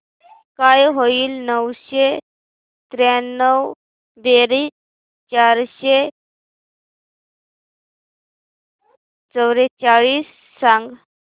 काय होईल नऊशे त्र्याण्णव बेरीज चारशे चव्वेचाळीस सांग